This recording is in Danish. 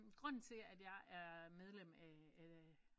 Grunden til jeg er medlem af af